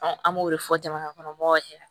an b'o de fɔ jamanakɔnɔ mɔgɔw ɲɛna